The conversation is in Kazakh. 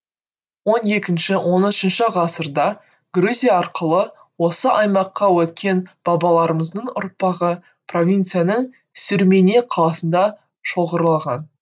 он екінші он үшінші ғасырда грузия арқылы осы аймаққа өткен бабаларымыздың ұрпағы провинцияның сюрмене қаласында шоғырлаған